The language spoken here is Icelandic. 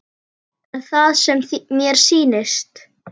Er það sem mér sýnist?